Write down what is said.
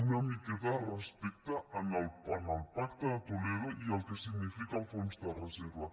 una miqueta de respecte al pacte de toledo i al que significa el fons de reserva